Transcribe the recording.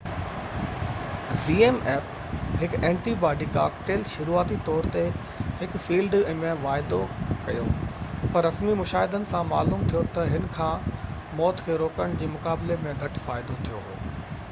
هڪ antibody cocktail zmapp شروعاتي طور تي هن فيلڊ ۾ واعدو ڪيو پر رسمي مشاهدن سان معلوم ٿيو تہ هن کان موت کي روڪڻ جي مقابلي ۾ گهٽ فائدو ٿيو هو